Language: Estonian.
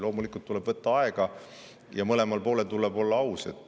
Loomulikult tuleb võtta aega ja mõlemal poolel tuleb olla aus.